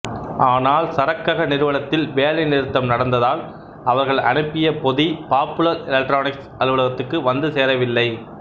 ஆனால் சரக்கக நிறுவனத்தில் வேலைநிறுத்தம் நடந்ததால் அவர்கள் அனுப்பிய பொதி பாப்புலர் எலெக்ட்ரானிக்ஸ் அலுவலகத்துக்கு வந்து சேரவில்லை